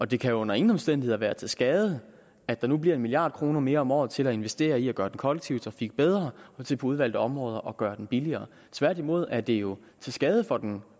det kan under ingen omstændigheder være til skade at der nu bliver en milliard kroner mere om året til at investere i at gøre den kollektive trafik bedre og til på udvalgte områder at gøre den billigere tværtimod er det jo til skade for den